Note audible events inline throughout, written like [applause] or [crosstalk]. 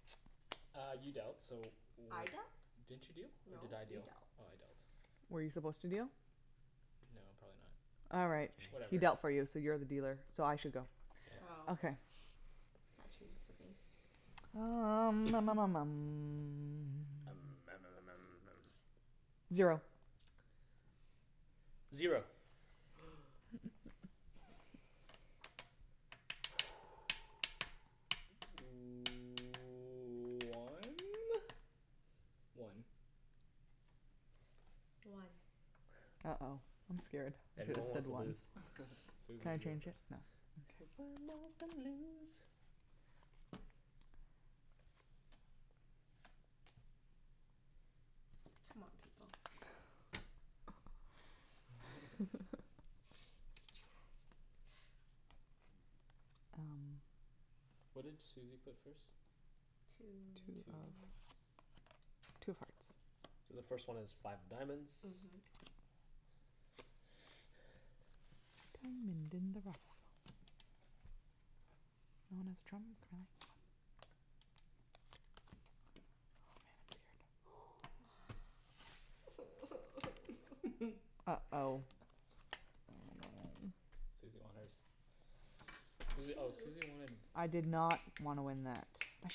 [noise] Uh, you dealt so I dealt? w- Didn't you deal? Or did No, I you deal dealt Oh I dealt. Were you supposed to deal? No probably not. Alright He Whatever dealt for you so you're the dealer, so I should go. Oh Okay. That changes the game. Um [noise] Zero Zero One? One One Uh oh, I'm scared. Everyone wants to lose. Susie, you go first. C'mon, people What did Susie put first? Two Two, okay. Two hearts So the first one is five of diamonds. Mhm. [noise] Uh oh Susie won hers. Susie oh Susie wanted I did not wanna win that.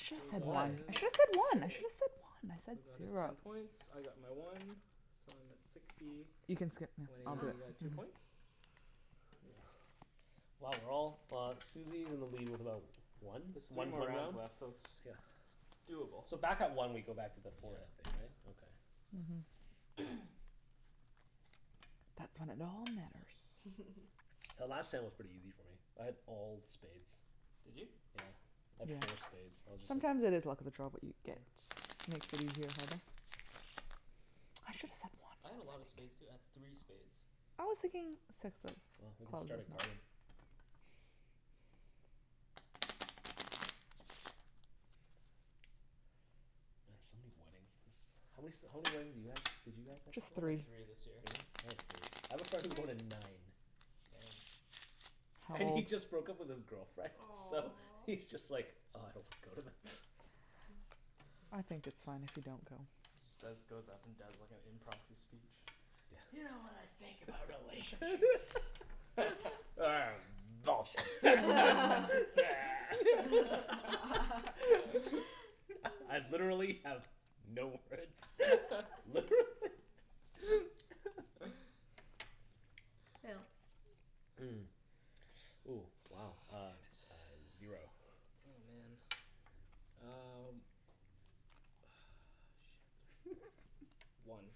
Should've Phil said got one, I his should've said one, I should've said one, I said- Phil got his screwed ten up points, I got my one, so I'm at sixty, Wenny got two points Wow, we're all, uh Susie's in the lead with about one, There's three one more more rounds round? left so it's Yeah Doable So back at one we go back to the forehead thing, Yeah right? Okay. The last time was pretty easy for me, I had all spades. Did you? Yeah. I had four spades so I was just Sometimes it like is the luck of the draw, what you get. [inaudible] I should've said I had a lot one. of spades too. I had three spades I was thinking six Well, we of can clubs. start a garden. Man, so many weddings this, how many s- how many weddings did you have, did you guys have to Only three this year I had three. I have a friend who went to nine. Damn And he just broke up with his girlfriend so Aw he's just like, ugh, I don't want to go to them. I think it's fine if you don't go. Instead he just goes up and does like a impromptu speech. You know what I think about relationships [laughs] [noise] Bullshit [laughs] [noise] I, I've literally have no words, literally [laughs] Phil Mm, ooh wow uh Oh, damn it Zero Oh man, um, ugh shit. One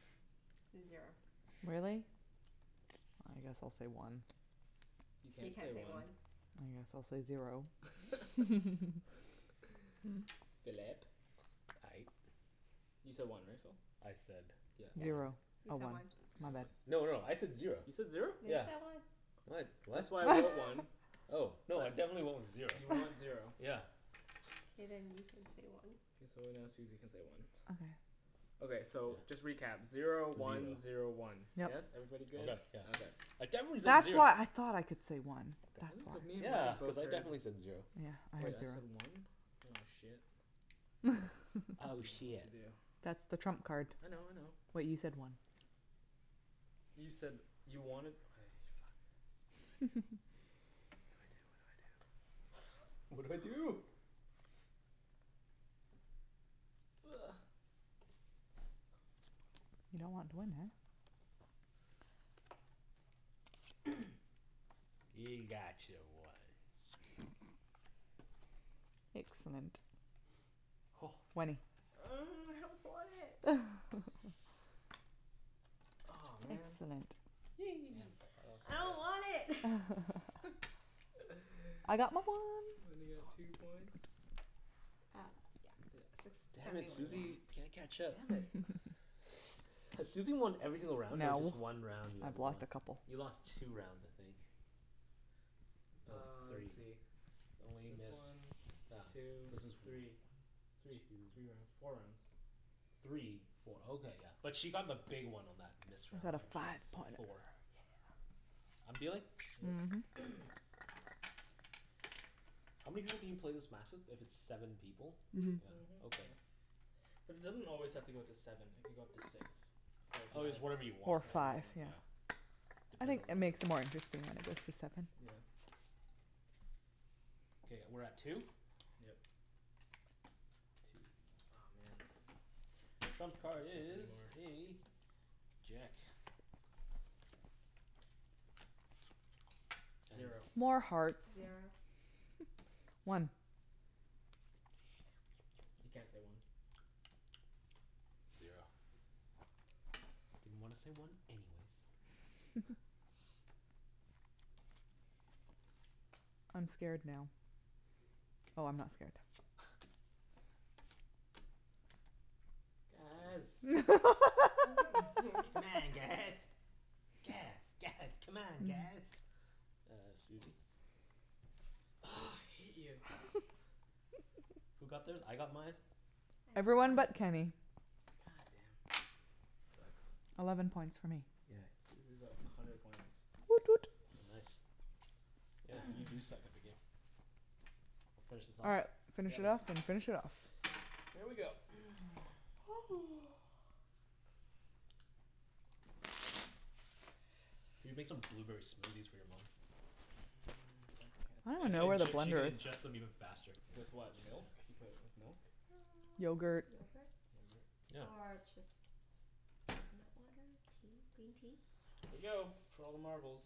Zero Really? I guess I'll say one You You can't can't say say one. one. I guess I'll say zero [laughs] Phillip? Aye You said one right, Phil? I said Yep Zero. He Oh said one one He said No, one no, I said zero. You said zero? No, you Yeah. said one. No I d- what? That's why I wrote one Oh no, I definitely went with zero. You want zero. Yeah. Okay, then you can say one. K, so now Susie can say one Okay so just recap, zero one zero one. Yes? Everybody good? Right, yeah. Okay. I Ooh, definitely said that's zer- why I thought I could say one, that's Really? why. But me and Yeah. Wenny Cuz both I heard definitely said zero. Wait I said one? Oh shit. [laughs] I Oh shiet. dunno what That's to do. the trump card. I know I know. Wait you said one You said you wanted, okay, fuck. What do I do. What do I do, what do I do. What do I do. Ugh You don't want to win eh? You got your one. Excellent. Wenny. Ugh, I don't want it! Aw man! Excellent I don't want it! I got my one. Wenny got two points. Uh yeah. Six, Damn seventy it, one, yeah. Susie, can't catch up. Damn it Has Susie won every single round or No just one round you have I've won. lost a couple You lost two rounds, I think. No, Uh, let's three. see. This one, two, three. Three, three rounds. Four rounds. Three, four, oh okay yeah. But she got the big one on that missed round though. Five She got points, yeah. four. I'm dealing? Yep Mhm How many people can you play this match with if it's seven people? Mhm. Yeah, okay. But it doesn't always have to go to seven. It could go up to six. Oh it's whatever you want, Or Whatever you five right? want yeah. I think that makes it more interesting Yeah Okay, we're at two? Yep. Aw man, Trump can't card catch up is anymore a jack. Zero More hearts Zero One You can't say one. Zero Didn't wanna say one anyways. I'm scared now. Oh I'm not scared. Guys [laughs] C'mon guys, guys, guys, c'mon, guys! Uh Susie Ugh, I hate you Who got theirs? I got mine. I got Everyone mine. but Kenny. God damn. Sucks Eleven points for me Yeah Susie's at a hundred points. Woot woot Oh nice. Yeah, you do suck at the game. Finish this All off? right, finish Yep it off and finish it off. Here we go [noise] [noise] You can make some blueberry smoothies for your mom. She can inge- she can ingest them even faster. With what, milk? You put, with milk? Yogurt Yogurt Yogurt? Yeah. Or just coconut water, tea, green tea. Here we go, for all the marbles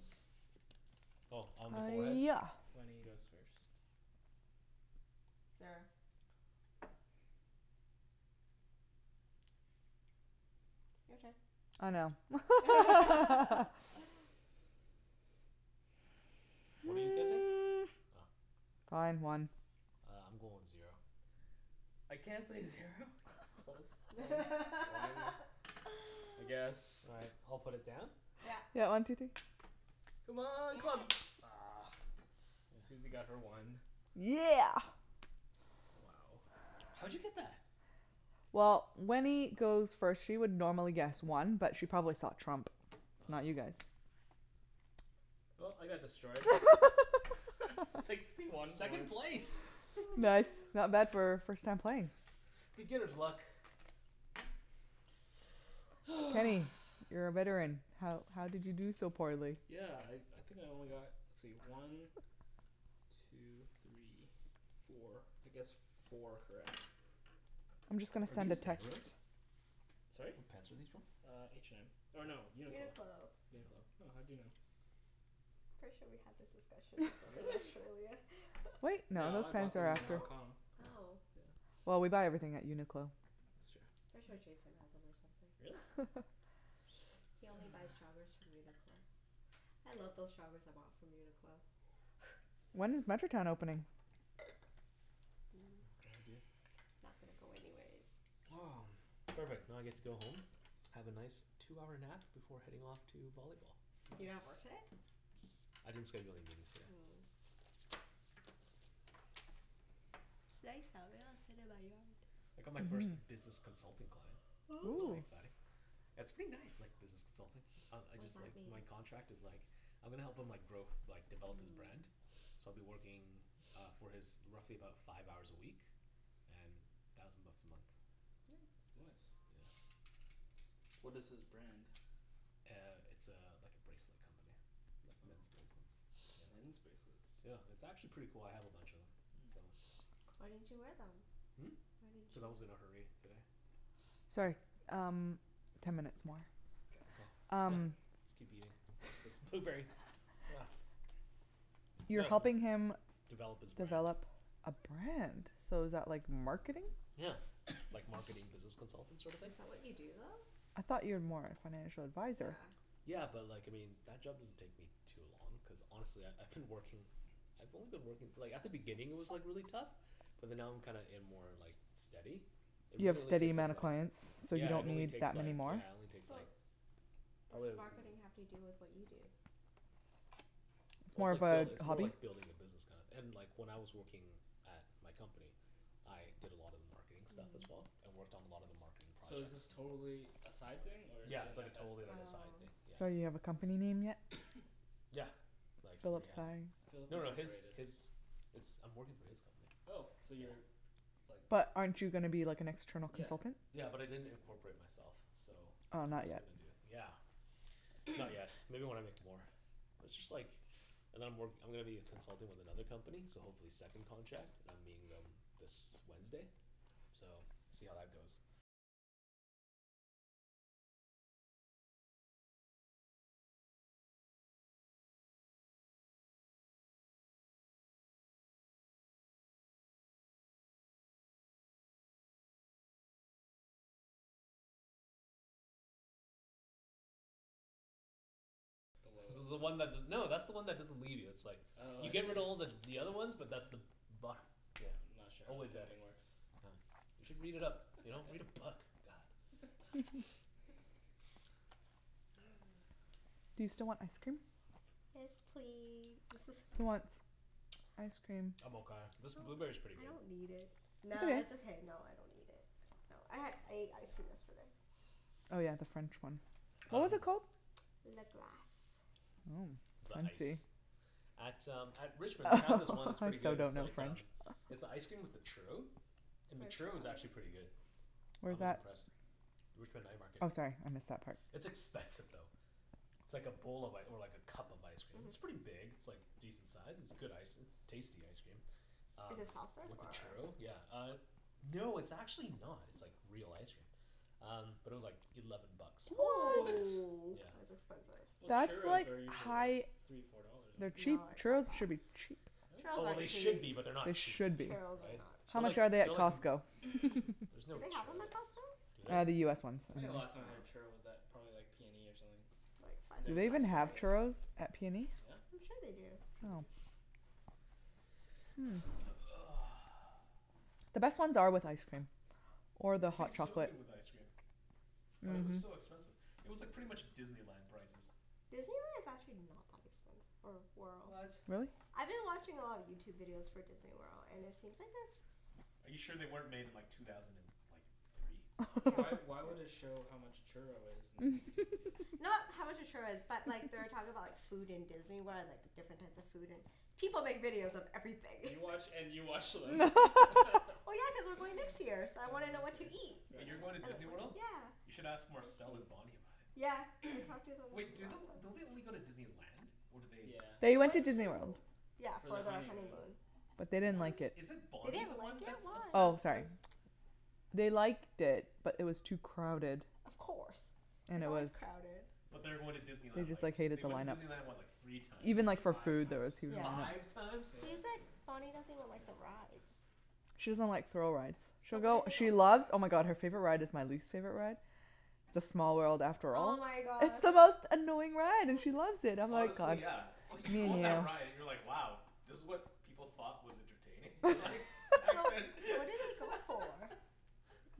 Oh, on the forehead? Yeah Wenny goes first. Zero. Your turn I know. [laughs] [laughs] What are you guessing? Fine, one Uh I'm going with zero. I can't say zero? You assholes One. One? [laughs] I guess. All right, I'll put it down. Yeah Yeah, one two three C'mon, clubs! Ugh, Susie got her one. Yeah! Wow How'd you get that? Well, Wenny goes first. She would normally guess one but she probably saw trump so not you guys. Well, I got destroyed. [laughs] Sixty one Second one place! Nice, not bad for first time playing Beginner's luck. Kenny, [noise] you're a veteran, how how did you do so poorly? Yeah, I I think I only got, let's see, one two three four, I guessed four correct. I'm just gonna Are send these? a text. [inaudible] Sorry? What pants are these from? Uh H&M, or no, UNIQLO UNIQLO UNIQLO. Oh, how'd you know? Pretty sure we had this discussion before in Really? Australia. Wait No, I bought them in Hong Kong. Oh? Oh. Yeah Well, we buy everything at UNIQLO. That's true. Pretty sure Jason has'em or something Really? He only buys joggers from UNIQLO. I love those joggers I bought from UNIQLO. When is Metrotown opening? Not gonna go anyways. [noise] Perfect, now I get to go home, have a nice two-hour nap before heading off to volleyball. You don't have work Nice today? I didn't schedule anything in today. Mm It's nice out. Maybe I'll sit in my yard. I got my first business consultant client. That's Ooh. pretty exciting. Nice That's pretty nice like business consulting. Um I What does just like, that mean? my contract is like, I'm gonna help him like, grow, like develop his brand, so I'll be working uh for his, roughly about five hours a week and thousand bucks a month. Yeah. Nice. What is his brand? Uh it's a, like a bracelet company, like men's bracelets. Men's bracelets Yeah. It's actually pretty cool. I have a bunch of'em so. Why didn't you wear them? Hmm? Why didn't you Cuz I was in wear a hurry today. them? Sorry, um ten minutes more. Okay Yep, Um let's keep eating this blueberry, yeah. You're helping him Develop his brand Develop a brand? So is that like marketing? Yeah, like marketing business consultant sort of thing? Is that what you do I though? thought you are more like financial advisor. Yeah. Yeah, but like, I mean that job doesn't take me too long cuz honestly I I I've been working, I've only been working like at the beginning it was like really tough, but then now I'm kinda in more like steady It You have really only steady takes up amount of like, clients? So you yeah it don't only need that takes many like, more? yeah it only takes like But what probably does marketing have to do with what you do? Well, it's like buil- it's more like building a business kinda and like when I was working at my company, I did a lot of marketing stuff as well, I worked on a lot of the marketing So is projects. this totally a side thing or is it Yeah, it's an like a FS totally, thing? like a side thing, Oh. yeah. So you have a company name yet? Yeah, like he already has it. Philip No no, his, Incorporated. his, it's, I'm working for his company. Oh, so you're like But aren't you gonna be like an external Yeah consultant? Yeah, but I didn't incorporate myself, so Oh I'm not just yet gonna do, yeah. Not yet. Maybe when I make more. But it's just like and I'm work, I'm gonna be a consultant with another company so hopefully second contract, and I'm meeting them this Wednesday so, see how that goes. This is the one that's the, no, that's the one that doesn't leave you it's like Oh You I see. giver her to all the the other ones but that's the bottom, yeah, I'm not sure how always there. pimping works. Oh, you should read it up. You know, read a book, god. You still want ice cream? Yes, please [laughs] Who wants ice cream? I'm I don't, okay. This blueberry's pretty I good. don't need it. Nah, it's It's okay. okay. No, I don't need it. No, I had, ate ice cream yesterday. Oh yeah the French one. What was it called? Le Glace The I ice see. At um at Richmond they have this one that's pretty good. It's like um, it's an icecream with a churro, and the churro was actually pretty good. I Where's was that? impressed. Richmond night market. Oh sorry, I missed that part. It's expensive though. It's like a bowl of like, or like a cup of ice cream, it's pretty big. It's like decent size. It's good ice, it's tasty ice cream, um Is it soft-serve with the or? churro, yeah, uh no, it's actually not. It's like real ice cream. Um, but it was like eleven bucks for What?! it. Whoa! Yeah That's expensive. Well, That's churros like are usually like high- three four dollars, They're aren't they? cheap. No they're not Churros should be cheap. that Oh well, they Really? should be but they're not They cheap. should be. Churros are not How cheap. They're like, much are they at they're like Costco? There's no Do they have'em churros at at, Costco? do Uh the US ones. they? I think the last time I had a churro was at probably like PNE or something. Do Those they were even have expensive. churros at PNE? I'm sure they do. I'm sure they do. The best ones are with ice cream or the It hot tastes so chocolate. good with ice cream. But it was so expensive. It was like pretty much Disneyland prices. Disneyland is actually not that expensive or What? Really? I've been watching a lot of Youtube videos for Disney World and it seems like a Are you sure they weren't made in like two thousand and like three? Why why would it show how much a churro is in Youtube videos? Not how much a churro is but like they were talking about like food in Disney World and like different types of food and, people make videos of everything You watch and you watch them. [laughs] [laughs] Well, yeah, cuz I'm going next year so I Oh wanna know what to okay, eat fair Wait, enough you're going to Disney World? You Yeah should ask Marcel and Bonny about it. Yeah, I've talked to them Wait, do lots of the- don't they only go to Disneyland? Or do they Yeah, They They Disney went to went Land. Disney to, World. yeah For their For their honeymoon. honeymoon. But they didn't What is, like it is it They Bonny the didn't like one it, that's why? Oh obsessed sorry. with They liked it but it was too crowded Of course, it's always crowded But they are going to Disney They Land just like, like hated they the went to line up Disney so. Land, what, like, three times? Even like for Five food there was [inaudible] times huge line Five ups. times? Yeah. He's like, Bonny doesn't even like the rides. She doesn't like thrill rides. So She'll what go, did they go she for? loves, oh my god, her favorite ride is my least favorite ride, "It's a small world after Oh all." my It's god. the most annoying ride and she loves it. I'm like Honestly yeah, it's [inaudible] like you go on that ride and you're like wow, this was what people thought was entertaining? Like, [laughs] back So then? what did they [laughs] go for?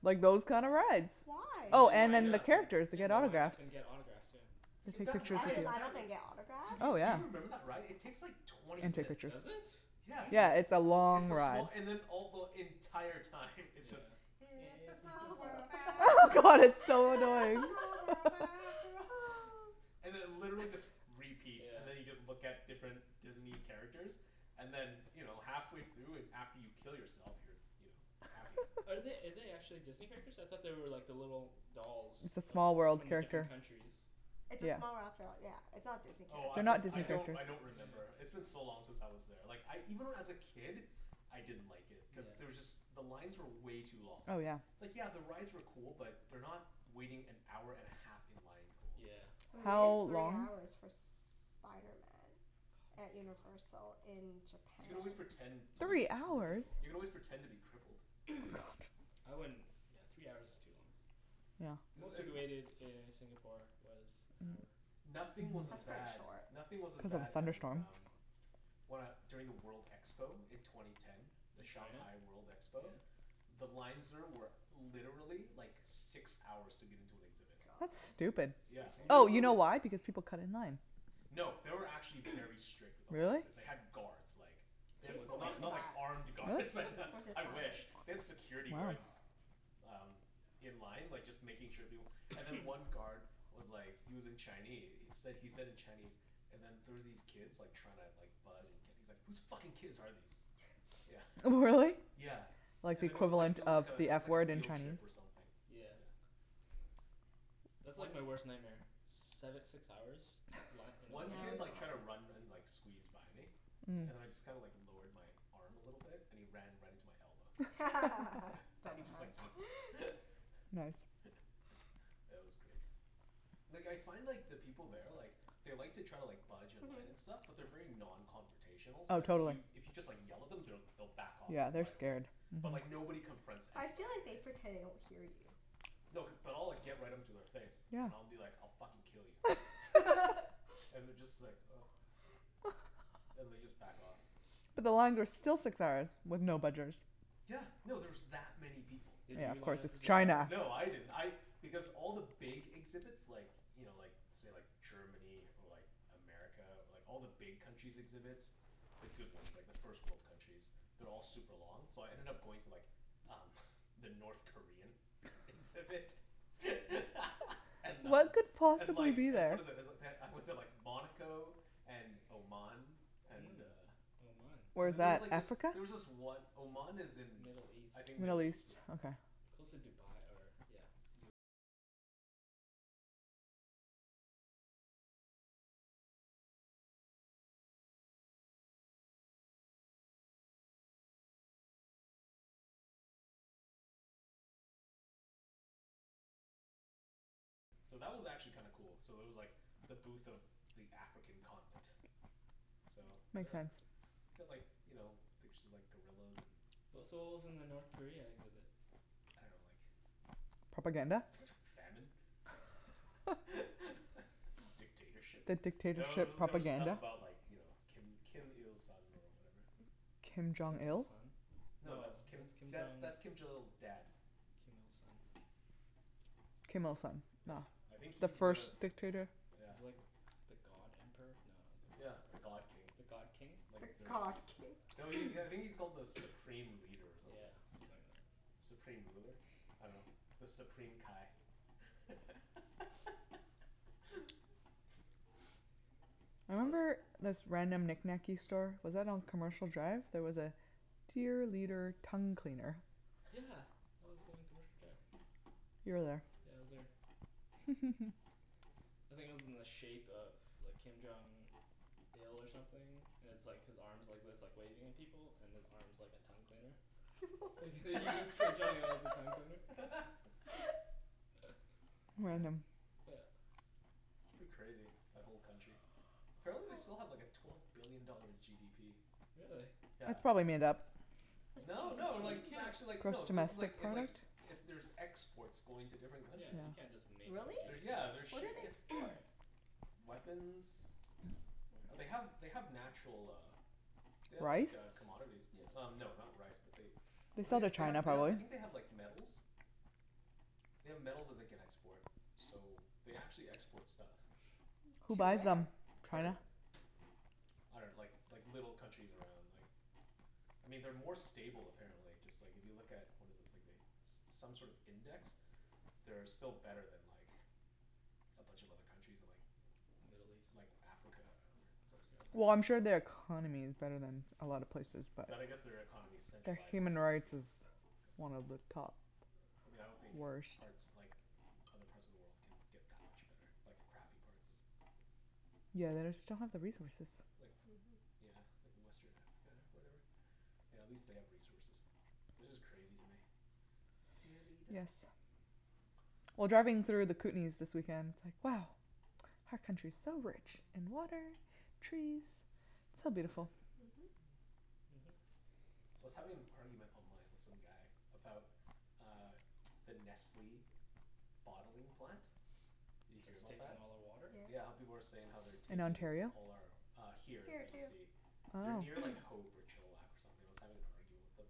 Like those kinda rides. Why? And Oh they'll and line then the up [inaudible] and characters, you yeah, get and they'll line autographs. up and get autographs, yeah. That's it? Line up and get autographs? Oh Do yeah. you remember that ride? It takes like twenty minutes. Does it? Yeah, Twenty Yeah, minutes? it's a it's long a small, ride. and then all the, the entire time it's just, "It's a small world Oh after god, all, it's so it's a annoying. small world [laughs] [laughs] after all." And it literally just repeats. Yeah And then you just look at different Disney characters and then you know, halfway through and after you kill yourself you're, you know, happy. Are they, are they actually Disney characters? I thought they were like the little dolls. It's a Of, small world from the character. different countries It's a small world after all yeah, it's not Disney Oh I characters. for- I don't, I don't Yeah remember. It's been yeah yeah so long since I was there, like I even when I was a kid, I didn't like it. Cuz Yeah there was just, the lines were way too long. Oh yeah It's like yeah the rides were cool but they're not waiting-an-hour-and-a-half-in-line cool. Yeah We waited How three long hours for Spiderman Oh at my god Universal in You can always japan. pretend to be Three That's hours?! You can brutal. always pretend to be crippled. I wouldn't, yeah, three hours is too long. Yeah. Most we waited in Singapore was an hour. Nothing was as bad, nothing was as bad as um, when I, during the world expo in twenty ten. The In China? Shanghai World expo. Yeah The lines there were literally like six hours to get into an exhibit. That's God. stupid Yeah, Oh you know literally. why, because people cut in line. No, they were actually very strict with the lines Really? there. They had guards like They had, With Jason well went not to not guns? like that. armed guards but What? With [laughs] his I wish. family They had security guards um in line like just making sure people, and then one guard was like he was in Chine- he said he said in Chinese and then there was these kids like trying to like bud- and he's like "Who's fucking kids are these," yeah. Really? Yeah, Like the and then it was like equivalent it was like of a the it was F like a word in field trip or Chinese something. Yeah That's like my worst nightmare, seve- six hours, li- in a One line up kid like tried to run and and like squeeze by me, and I just kinda like lowered my arm a little bit and he ran right into my elbow. [laughs] And he just like Dumbass Nice [noise] Yeah, that was great. Like I find like the people there like they like to try to like budge in line and stuff but they're very non-confrontational so Oh like if totally. you, if you just like yell at them they'll back off like Yeah. They're right away. scared. But like nobody confronts I feel anybody, like they right? pretend they don't hear you. No, cuz, but I'll like get right into their face Yeah and I'll be like, "I'll fucking kill you." [laughs] And they just like ugh, and they just like back off. But the lines are still six hours with no budgers. Yeah, no, there's that many people. Did Yeah you of course line up for it's the crowd or China. something? No, I didn't, I, because all the big exhibits like you know, like say, like Germany or like America or like all the big countries' exhibits, the good ones, like the first world countries, they're all like super long so I ended up going to like um the North Korean exhibit [laughs] and uh What could And possibly like, be and there? what is it, is it, they- I went to like Monaco and Oman. And Mm. uh Oman. Where's There's that, like this, Africa? there was this one, Oman is in Middle East I think Middle Middle East, East? yeah. Okay. So that was actually kinda cool. So there was like the booth of the African continent. So, Makes [noise] sense. They had like, you know, pictures of like gorillas and W- so what was in the North Korea exhibit? I dunno, like Propaganda? Famine? [laughs] Dictatorship? The No, there dictatorship were there were stuff propaganda? about like you know, Kim Kim Il Sung or whatever. Kim Jong Kim Il Il? Sung? No, that's Kim, that's that's Kim Jong Il's dad. Kim Il Sung. Kim Il Sung. Yeah, No. I think The he's the first dictator? Yeah. He's like the god emperor? No, not the god Yeah, the emperor. god king. The god king? The god king? No, he, I think he's called the supreme leader or something Yeah. like that. Something like that. Supreme ruler? I dunno. The Supreme Kai. [laughs] I remember this random knickknacky store, was that on Commercial Drive? There was a "Dear Leader Tongue Cleaner". Yeah, that was on Commercial Drive. You were there. Yeah, I was there. I think it was in the shape of like Kim Jong Il or something, and it's like his arms are like this, like waving at people and his arm's like a tongue cleaner. You [laughs] use Kim Jong what? Il as a tongue cleaner. [laughs] Amazing. Yeah It's pretty crazy, that whole country. Apparently they still have like a twelve billion dollar GDP. Really? Yeah. That's probably made up. No, No, no, like, you this is can't, actually like, no this is like, it like, it, there's exports going to different yeah, countries. you can't just make up a Really? They're, GDP. yeah, they're What do ship- they yeah export? Weapons, like they have, they have natural uh They have like Rice? uh commodities y- um no not rice but they, They I sell to think they, they China have, they have, I probably. think they have like metals. They have metals that they can export so they actually export stuff. Who To buys where? them? Pardon? I dunno, like like little countries around like, I mean they're more stable apparently, just like if you look at what is it, it's like they, some sort of index, they're still better than like a bunch of other countries in like Middle east? Like Africa, or some, stuff like Well I'm sure they are economy is better than a lot of places but But I guess their economy is Their centralized and human like, you rights know is one of the top I mean I don't think worst. parts, like other parts of the world can get that much better, like the crappy parts. Yeah, they just don't have the resources. Like, yeah like western Africa or whatever. Yeah, at least they have resources. It's just crazy to me. Dear leader Yes. Well, driving through the Kootenays this weekend, it's like, wow, our country's so rich in water, trees, so Yeah. beautiful. Mhm. I was having an argument online with some guy about uh the Nestle bottling plant. You hear It's about that? taking all their water? Yeah, how people are saying they're In taking Ontario? all our uh Here, in Here too. BC. They're Oh near like Hope or Chilliwack or something. I was having an argument with him.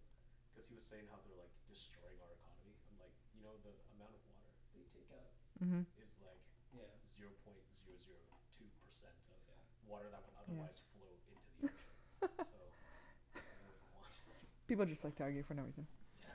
Cuz he was saying how they're like destroying our economy, I'm like, "You know the amount of water they take out" Mhm "Is like" Yeah "Zero point zero zero two percent of" Yeah "Water that would otherwise flow into the ocean." [laughs] "So, I dunno what you want." People just like to argue for no reason. Yeah.